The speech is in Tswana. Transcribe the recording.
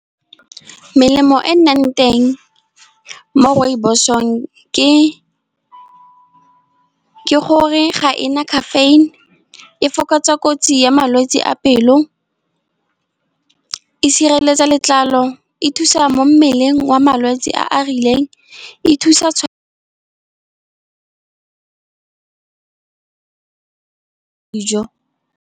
Melemo e nnang teng mo rooibos-ong ke gore ga ena caffeine. E fokotsa kotsi ya malwetse a pelo, e sireletsa letlalo, e thusa mo mmeleng wa malwetse a a rileng, e thusa dijo.